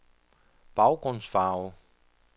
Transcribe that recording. baggrundsfarve